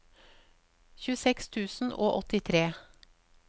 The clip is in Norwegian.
tjueseks tusen og åttitre